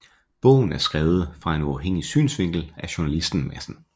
Bogen er skrevet fra en uafhængig synsvinkel af journalisten Madsen